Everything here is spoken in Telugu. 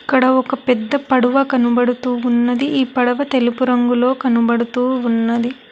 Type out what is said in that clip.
ఇక్కడ ఒక పెద్ద పడ్డువ కనబడుతూ ఉన్నది ఈ పడవ తెలుపు రంగులో కనబడుతూ ఉన్నది.